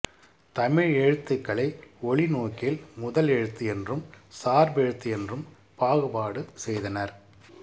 தமிழ் எழுத்துகளை ஒலி நோக்கில் முதலெழுத்து என்றும் சார்பெழுத்து என்றும் பாகுபாடு செய்தனர்